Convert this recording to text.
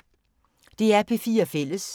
DR P4 Fælles